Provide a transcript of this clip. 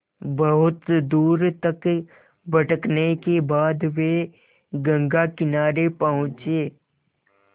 बहुत दूर तक भटकने के बाद वे गंगा किनारे पहुँचे